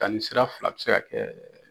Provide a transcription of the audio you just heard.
Danni sira fila be se ka kɛ.